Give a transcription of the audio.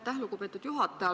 Aitäh, lugupeetud juhataja!